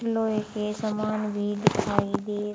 लोहे के सामान भी दिखाई दे--